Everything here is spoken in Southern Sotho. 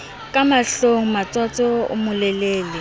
ka mahlong motsotso o molelele